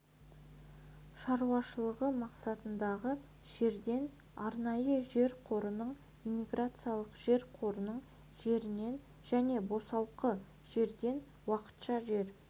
шаруашылығы мақсатындағы жерден арнайы жер қорының иммиграциялық жер қорының жерінен және босалқы жерден уақытша жер